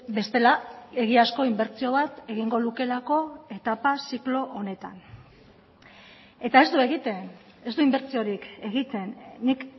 bestela egiazko inbertsio bat egingo lukeelako etapa ziklo honetan eta ez du egiten ez du inbertsiorik egiten nik